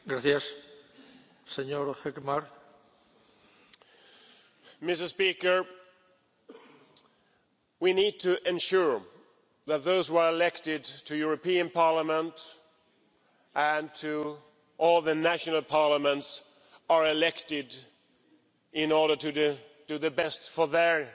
Mr President, we need to ensure that those who are elected to the European Parliament and to all the national parliaments are elected in order to do their best for their